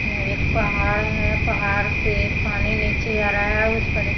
यह एक पहाड़ है पहाड़ से पानी नीचे आ रहा है उस पर--